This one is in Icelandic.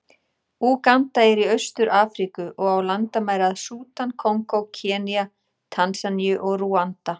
Úganda er í Austur-Afríku, og á landamæri að Súdan, Kongó, Kenía, Tansaníu og Rúanda.